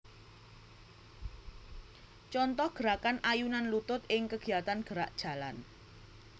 Contoh gerakan ayunan lutut ing kegiatan gerak jalan